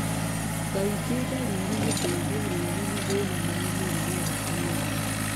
Kaingĩ ndariri nĩ kũigua ruo na mathina ma mũrimũ wa anaemia